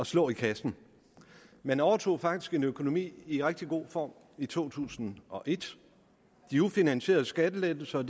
slå i kassen man overtog faktisk en økonomi i rigtig god form i to tusind og et de ufinansierede skattelettelser og